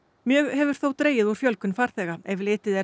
mjög hefur þó dregið úr fjölgun farþega ef litið er